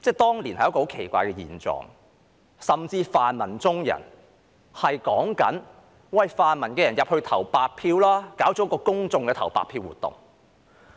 當年存在一個很奇怪的狀況，甚至泛民中人也鼓勵泛民支持者投白票，舉辦了一個公眾投白票的活動。